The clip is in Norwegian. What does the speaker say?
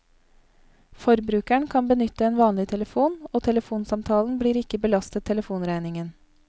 Forbrukeren kan benytte en vanlig telefon og telefonsamtalen blir ikke belastet telefonregningen.